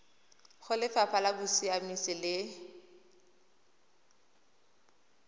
go lefapha la bosiamisi le